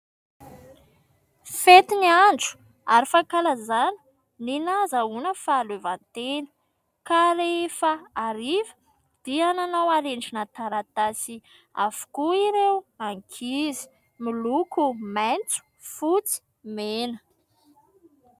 Fety ny andro ary fankalazana ny nahazoana fahalevantena ka rehefa ariva dia nanao harendrina taratasy avokoa ireo ankizy miloko maitso, fotsy, mena.